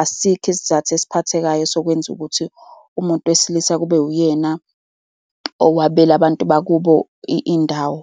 asikho isizathu esiphathekayo sokwenza ukuthi umuntu wesilisa kube uyena owabela abantu bakubo indawo.